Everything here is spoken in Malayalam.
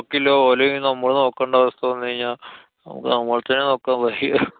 ബാക്കിയുള്ള ഓലേം നമ്മള് നോക്കണ്ട അവസ്ഥ വന്നു കഴിഞ്ഞാ, നമ്മള്‍ക്ക് നമ്മളെ തന്നെ നോക്കാന്‍ വയ്യ.